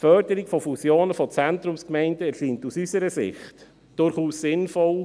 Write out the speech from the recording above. Die Förderung von Fusionen von Zentrumsgemeinden erscheint aus unserer Sicht durchaus sinnvoll.